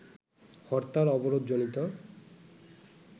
হরতাল-অবরোধজনিত